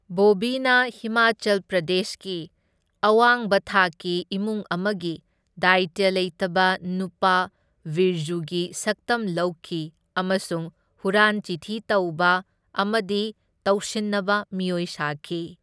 ꯕꯣꯕꯤꯅ ꯍꯤꯃꯥꯆꯜ ꯄ꯭ꯔꯗꯦꯁꯀꯤ ꯑꯋꯥꯡꯕ ꯊꯥꯛꯀꯤ ꯏꯃꯨꯡ ꯑꯃꯒꯤ ꯗꯥꯢꯇ꯭ꯌ ꯂꯩꯇꯕ ꯅꯨꯄꯥ ꯕꯤꯔꯖꯨꯒꯤ ꯁꯛꯇꯝ ꯂꯧꯈꯤ ꯑꯃꯁꯨꯡ ꯍꯨꯔꯥꯟ ꯆꯤꯊꯤ ꯇꯧꯕ ꯑꯃꯗꯤ ꯇꯧꯁꯤꯟꯅꯕ ꯃꯤꯑꯣꯢ ꯁꯥꯈꯤ꯫